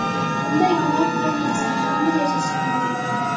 Bunday gunoh bilan inson qanday yashashi mumkin?